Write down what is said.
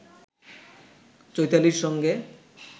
চৈতালির সঙ্গে